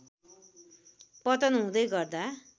पतन हुँदै गर्दा